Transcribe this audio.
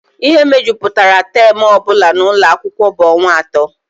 Ihe mejupụtara taam ọ bụla n'ụlọ akwụkwọ bụ ọnwa atọ